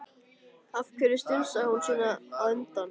Af hverju strunsaði hún svona á undan?